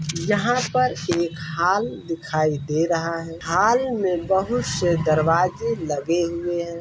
यहाँ पर एक हाल दिखाई दे रहा है | हाल में बोहोत से दरवाजे लगे हुए हैं ।